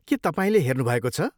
के तपाईँले हेर्नुभएको छ?